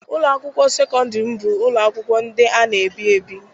Ụlọ akwụkwọ sekọndrị m bụ ụlọ akwụkwọ ndị a na-ebi ebi.